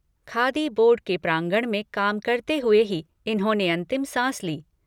Khadi board के प्रांगण में काम करते हुए ही इन्होंने अंतिम सांस ली।